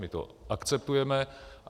My to akceptujeme.